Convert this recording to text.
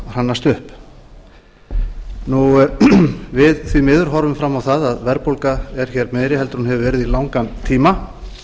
hrannast upp við því miður horfum fram á það að verðbólga er hér meiri heldur en hún hefur verið